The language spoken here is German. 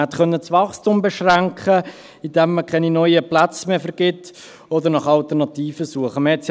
Man hätte das Wachstum beschränken können, indem man keine neuen Plätze mehr vergibt, oder man hätte nach Alternativen suchen können.